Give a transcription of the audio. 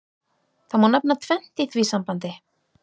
Það má nefna tvennt í því sambandi.